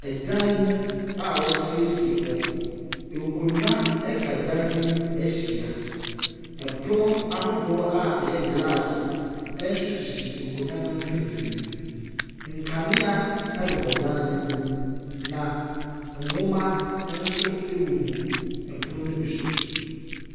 Ɛdan mu a wɔasiesie hɔ. Nkonnwa atwa dan yi mu ahyia. Pono ahodoɔ a ɛno nso yɛ glaase sisi nkonnwa no mfimfini. Nkanea bobɔ dan no mu, na nnwoma nso gugu pono no bi so.